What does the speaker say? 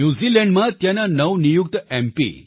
ન્યૂઝીલેન્ડમાં ત્યાંના નવનિયુક્ત એમ